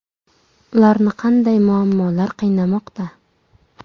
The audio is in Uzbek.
Ularni qanday muammolar qiynamoqda?